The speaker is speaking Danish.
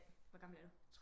Hvor gammel er du